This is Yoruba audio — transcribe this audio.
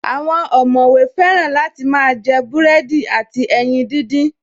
Àwọn ọ̀mọ̀wé fẹ́ràn láti máa jẹ búrẹ́dì àti ẹyin díndín